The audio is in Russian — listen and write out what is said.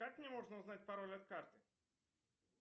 как мне можно узнать пароль от карты